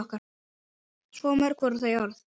Svo mörg voru þau orð!